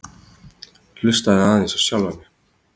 Hlustaði aðeins á sjálfa mig.